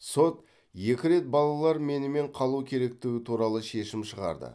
сот екі рет балалар менімен қалу керектігі туралы шешім шығарды